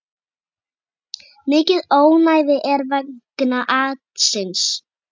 Mikið ónæði er vegna atsins.